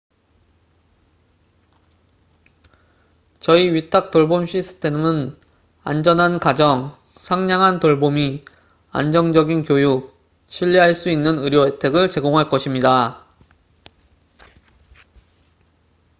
저희 위탁 돌봄 시스템은 안전한 가정 상냥한 돌보미 안정적인 교육 신뢰할 수 있는 의료 혜택을 제공할 것입니다